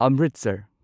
Amritsar